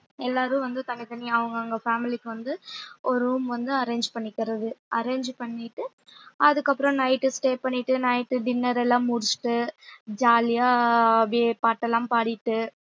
எல்லாரும் வந்து தனித்தனியா அவங்கவங்க family க்கு வந்து ஒரு room வந்து arrange பண்ணிக்கிறது arrange பண்ணிட்டு அதுக்கப்புறம் night stay பண்ணிட்டு night உ dinner எல்லாம் முடிச்சிட்டு jolly யா அப்படியே பாட்டெல்லாம் பாடிட்டு